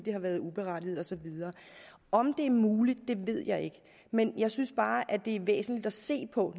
har været uberettiget og så videre om det er muligt ved jeg ikke men jeg synes bare det er væsentligt at se på